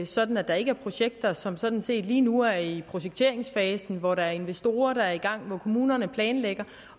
sådan at der ikke er projekter som sådan set lige nu er i projekteringsfasen hvor der er investorer der er i gang og kommuner der planlægger